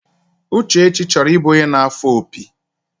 Uchechi choro ibu onye na afo opi.